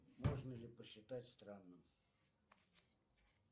можно ли посчитать страны